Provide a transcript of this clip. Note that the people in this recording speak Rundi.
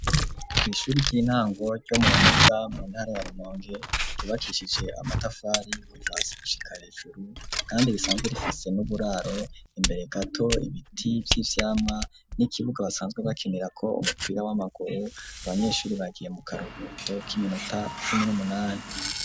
Kw'ishuri ry'intango ryo mu Rumeza mu ntara ya Rumonge, ryubakishije amatafari kuva gushika hejuru kandi bisanzwe rifise n'uburaro imbere gato ibiti vy'ivyamwa n'ikibuga basanzwe bakinirako umupira w'amaguru, abanyeshuri bagiye mu karuhuko k'iminota cumi n'umunani.